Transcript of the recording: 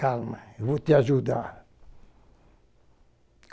Calma, eu vou te ajudar.